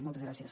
moltes gràcies